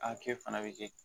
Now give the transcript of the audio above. A kɛ fana bɛ kɛ